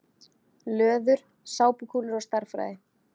Löður: Sápukúlur og stærðfræði.